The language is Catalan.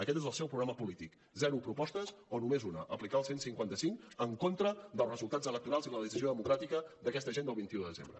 aquest és el seu programa polític zero propostes o només una aplicar el cent i cinquanta cinc en contra dels resultats electorals i la decisió democràtica d’aquesta gent del vint un de desembre